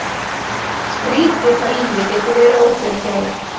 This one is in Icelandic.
Skrýtið hvað lífið getur verið ófyrirsjáanlegt.